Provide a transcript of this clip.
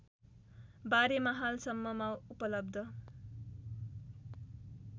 बारेमा हालसम्ममा उपलब्ध